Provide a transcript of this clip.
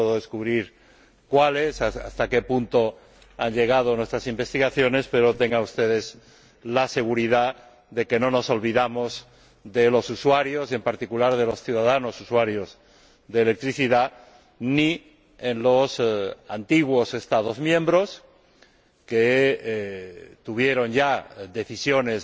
No puedo desvelar cuáles, ni hasta qué punto han llegado nuestras investigaciones, pero tengan ustedes la seguridad de que no nos olvidamos de los usuarios y, en particular, de los ciudadanos usuarios de electricidad, ni en los antiguos Estados miembros, respecto de los que la Comisión ya adoptó decisiones